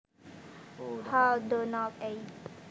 Hall Donald ed